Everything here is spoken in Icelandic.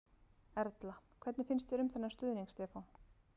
Erla: Hvernig finnst þér um þennan stuðning Stefán?